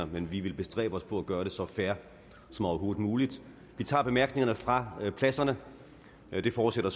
men jeg vil bestræbe mig på at gøre det så fair som overhovedet muligt vi tager bemærkningerne fra pladserne det forudsætter